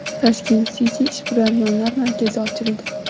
Tashkent City ishbilarmonlar markazi ochildi.